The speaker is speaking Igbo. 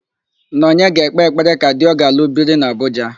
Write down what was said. Nọnye ga-ekpe ekpere ka di ọ ga-alụ biri n'Abuja.